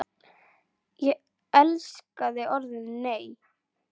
Ég elskaði orðið NEI!